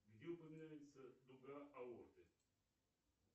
где упоминается дуга аорты